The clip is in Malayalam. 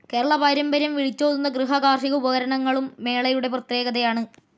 കേരള പാരമ്പര്യം വിളിച്ചോതുന്ന ഗൃഹാ കാർഷീക ഉപകരണങ്ങളും മേളയുടെ പ്രത്യേകതയാണ്.